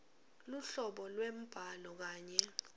luhlobo lwembhalo kanye